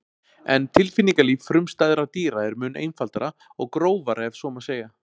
en tilfinningalíf frumstæðra dýra er mun einfaldara og grófara ef svo má segja